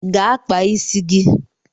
Gaa kpaa isi gi